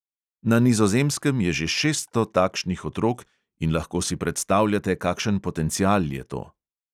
Na nizozemskem je že šeststo takšnih otrok in lahko si predstavljate, kakšen potencial je to.